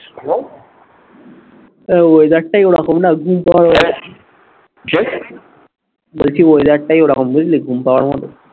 এই weather টাই ওরকম না ঘুম পাবেই এখন, কি? বলছি weather টাই ওরকম বুঝলি ঘুম পাবার মতো